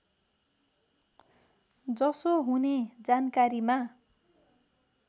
जसो हुने जानकारीमा